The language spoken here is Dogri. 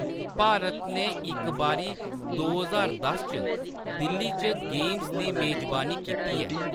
भारत ने इक बारी दो ज्हार दस च दिल्ली च गेम्स दी मेजबानी कीती ऐ।